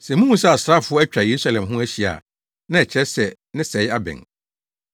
“Sɛ muhu sɛ asraafo atwa Yerusalem ho ahyia a, na ɛkyerɛ sɛ ne sɛe abɛn.